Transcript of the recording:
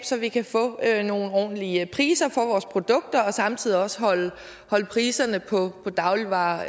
så vi kan få nogle ordentlige priser for vores produkter og samtidig også holde priserne på dagligvarer